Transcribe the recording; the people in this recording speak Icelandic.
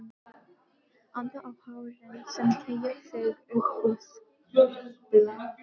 Anda á hárin sem teygja sig upp úr skyrtunni.